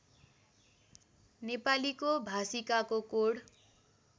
नेपालीको भाषिकाको कोड